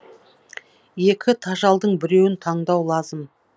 екі тажалдың біреуін таңдау лазым